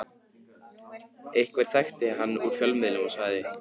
Einhver þekkti hann úr fjölmiðlum og sagði